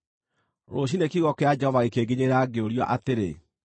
Rũciinĩ kiugo kĩa Jehova gĩkĩnginyĩrĩra, ngĩũrio atĩrĩ,